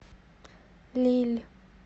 лилль